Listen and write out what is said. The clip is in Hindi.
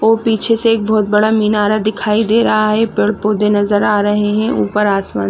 वो पीछे से एक बहोत बड़ा मीनारा दिखाई दे रहा है पेड़ पौधे नज़र आ रहे है ऊपर आसमान--